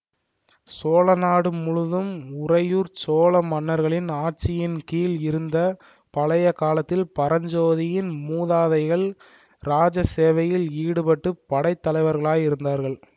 சோழநாடு முழுதும் உறையூர் சோழ மன்னர்களின் ஆட்சியின்கீழ் இருந்த பழைய காலத்தில் பரஞ்சோதியின் மூதாதைகள் இராஜ சேவையில் ஈடுபட்டு படை தலைவர்களாயிருந்தார்கள்